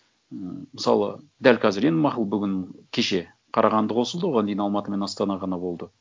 ммм мысалы дәл қазір енді мақұл бүгін кеше қарағанды қосылды оған дейін алматы мен астана ғана болды